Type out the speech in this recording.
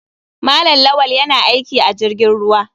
Malam lawal yana aiki a jirgin ruwa.